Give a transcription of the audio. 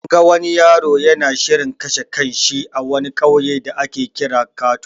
An ga wani yaro yana shirin kashe kan shi a wani ƙauye da ake kira kato.